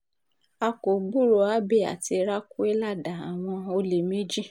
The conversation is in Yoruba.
a kò gbúròó abbey àti raquelada àwọn olè méjì